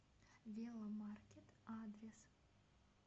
веломаркет адрес